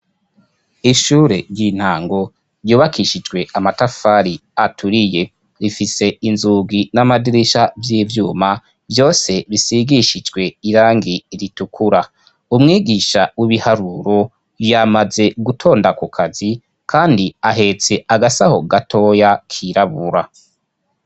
Ishure ry'intango ryubakishijwe amatafari aturiye rifise inzugi n'amadirisha vy'ivyuma vyose bisigishijwe irangi ritukura umwigisha w'ibiharuro yamaze gutonda ku kazi kandi ahetse agasaho gatoya kirabura.